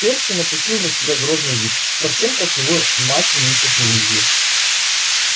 перси напустил на себя грозный вид совсем как его мать миссис уизли